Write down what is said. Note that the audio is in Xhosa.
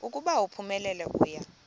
ukuba uphumelele uya